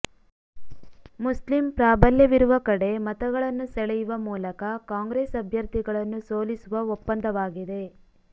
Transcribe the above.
Muslim ಪ್ರಾಬಲ್ಯವಿರುವ ಕಡೆ ಮತಗಳನ್ನು ಸೆಳೆಯುವ ಮೂಲಕ ಕಾಂಗ್ರೆಸ್ ಅಭ್ಯರ್ಥಿಗಳನ್ನು ಸೋಲಿಸುವ ಒಪ್ಪಂದವಾಗಿದೆ